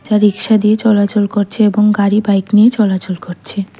যা রিকশা দিয়ে চলাচল করছে এবং গাড়ি বাইক নিয়ে চলাচল করছে।